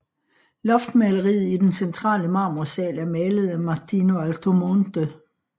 Loftmaleriet i den centrale Marmorsaal er malet af Martino Altomonte